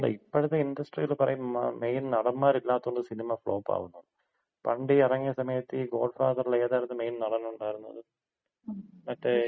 അല്ല ഇപ്പഴത്തെ ഇൻഡസ്ട്രിയില് പറയും മെയിൻ നടന്മാരില്ലാത്തോണ്ട് സിനിമ ഫ്ലോപ്പാകുന്നുവെന്ന്. പണ്ടീ എറങ്ങിയ സമയത്ത് ഈ ഗോഡ്ഫാദറില് ഏതാര്ന്ന് മെയിൻ നടൻ ഒണ്ടായിരുന്നത്? മറ്റേ ഈ